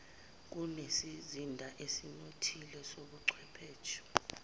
kunesizinda esinothile sobuchwepheshe